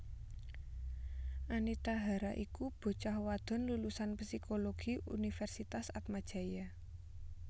Anita Hara iku bocah wadon lulusan Psikologi Universitas Atmajaya